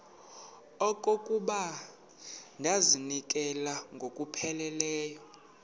okokuba ndizinikele ngokupheleleyo